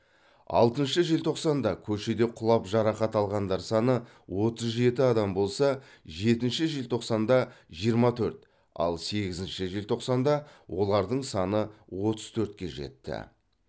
алтыншы желтоқсанда көшеде құлап жарақат алғандар саны отыз жеті адам болса жетінші желтоқсанда жиырма төрт ал сегізінші желтоқсанда олардың саны отыз төртке жетті